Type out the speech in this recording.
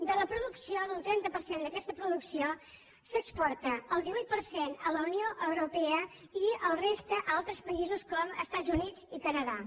de la producció d’un trenta per cent d’aquesta producció se n’exporta el divuit per cent a la unió europea i la resta a altres països com els estats units i canadà